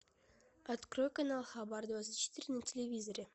открой канал хабар двадцать четыре на телевизоре